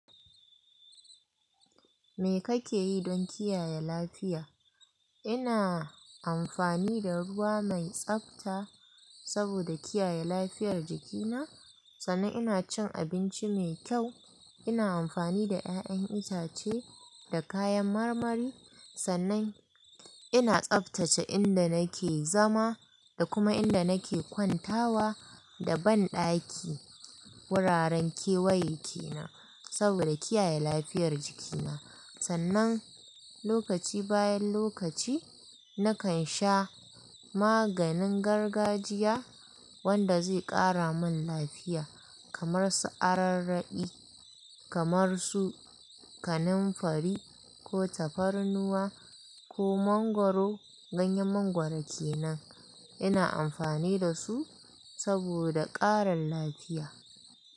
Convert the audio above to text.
Me kake yi don kiyaye lafiya? Ina amfani da ruwa mai tsabta saboda kiyaye lafiyar jikina. Sannan ina cin abinci mai kyau. Ina amfani da ƴaƴan itace da kayan marmari. Sannan ina tsaftace inda nake zama da kuma inda nake kwantawa da banɗaki wuraren kewaye ke nan saboda kiyaye lafiyar jikina. Sannan lokaci bayan lokaci, nakan sha maganin gargajiya wanda zai ƙara min lafiya kamar su ararraɗi, kamar su kanamfari ko tafarnuwa ko mangwaro ganyen mangwaro kenan. Ina amfani da su saboda ƙarin lafiya.